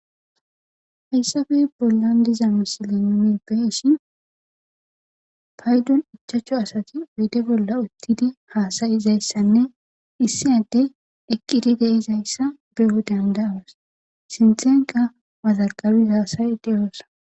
Hayssafe bollan diza misile nomi beshin paydon ichacho asati oyde bolla uttidi haasayizayssanne issinade eqqidi deizayssa beyo dandaawas sinthenka wazarqabi haasayi deyoosa.